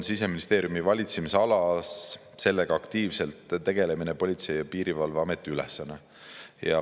" Siseministeeriumi valitsemisalas on sellega aktiivselt tegelemine Politsei‑ ja Piirivalveameti ülesanne.